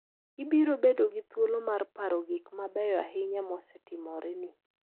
Ibiro bedo gi thuolo mar paro gik mabeyo ahinya mosetimoreni.